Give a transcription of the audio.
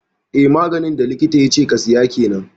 Eh maganin da likita yace ka siya kenan